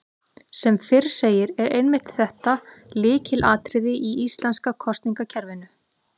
Sem fyrr segir er einmitt þetta lykilatriði í íslenska kosningakerfinu.